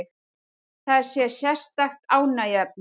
Það sé sérstakt ánægjuefni